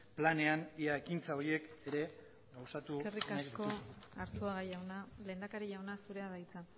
planean ea ekintza horiek ere gauzatu nahi dituzun eskerrik asko arzuaga jauna lehendakari jauna zurea da hitza